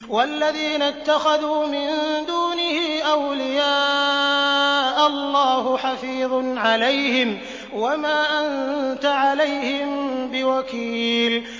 وَالَّذِينَ اتَّخَذُوا مِن دُونِهِ أَوْلِيَاءَ اللَّهُ حَفِيظٌ عَلَيْهِمْ وَمَا أَنتَ عَلَيْهِم بِوَكِيلٍ